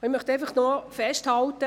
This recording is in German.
Ich möchte festhalten: